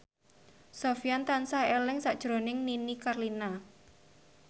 Sofyan tansah eling sakjroning Nini Carlina